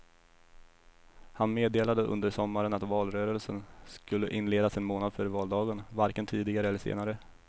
Han meddelade under sommaren att valrörelsen skulle inledas en månad före valdagen, varken tidigare eller senare.